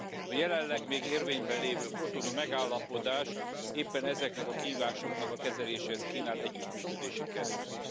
A jelenleg még érvényben lévő Cotonui Megállapodás éppen ezeknek a kihívásoknak a kezeléséhez kínál együttműködési keretet.